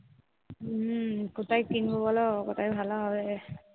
হুম, কোথায় কিনব বোলো, কোথায় ভালো হবে?